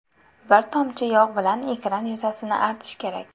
Bir tomchi yog‘ bilan ekran yuzasini artish kerak.